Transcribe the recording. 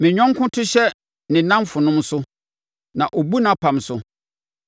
Me yɔnko to hyɛ ne nnamfonom so; na ɔbu nʼapam so.